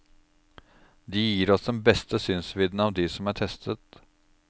De gir oss den beste synsvidden av de som er testet.